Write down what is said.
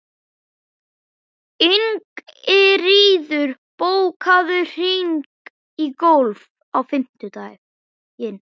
Ingiríður, bókaðu hring í golf á fimmtudaginn.